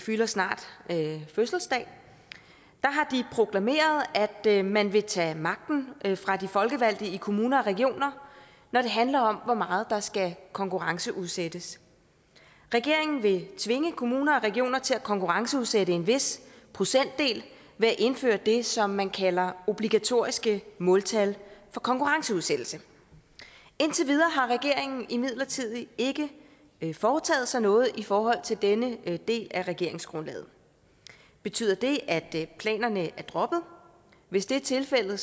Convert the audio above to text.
har snart fødselsdag proklameret at man vil tage magten fra de folkevalgte i kommuner og regioner når det handler om hvor meget der skal konkurrenceudsættes regeringen vil tvinge kommuner og regioner til at konkurrenceudsætte en vis procentdel ved at indføre det som man kalder obligatoriske måltal for konkurrenceudsættelse indtil videre har regeringen imidlertid ikke foretaget sig noget i forhold til denne del af regeringsgrundlaget betyder det at planerne er droppet hvis det er tilfældet